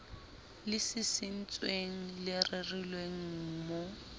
le sisintsweng le rerilweng mohl